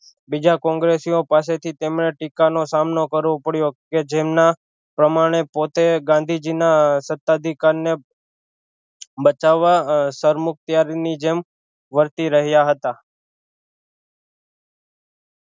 બીજા કોંગ્રેસીઑ પાસે થી તેમણે ટીકા નો સામનો કરવો પડ્યો કે જેમના પ્રમાણે પોતે ગાંધીજી ના સતાધિકાર ને બચાવા સરમુખત્યાર ની જેમ વર્તી રહ્યા હતા